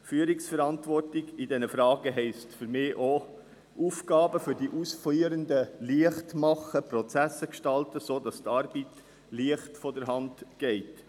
Führungsverantwortung in diesen Fragen heisst für mich auch, Aufgaben für die Ausführenden leicht zu machen und Prozesse so zu gestalten, dass die Arbeit leicht von der Hand geht.